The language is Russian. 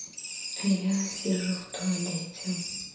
я сижу в туалете